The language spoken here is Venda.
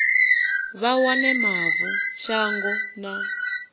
vha wane mavu shango na